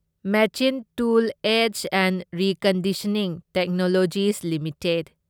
machine tool aids and reconditioning technologies limited